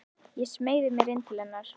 Ég smeygi mér inn til hennar.